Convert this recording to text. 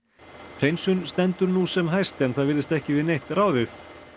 hreinsun stendur nú sem hæst en það virðist ekki við neitt ráðið